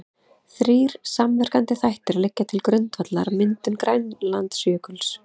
Þrír samverkandi þættir liggja til grundvallar myndun Grænlandsjökuls.